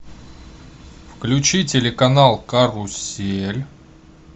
включи телеканал карусель